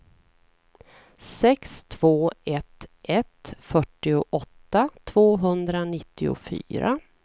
sex två ett ett fyrtioåtta tvåhundranittiofyra